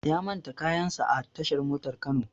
Ya manta kayan sa a tashar motar Kano